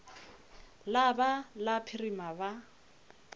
la ba la phirima ba